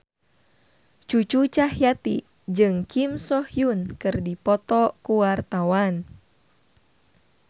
Cucu Cahyati jeung Kim So Hyun keur dipoto ku wartawan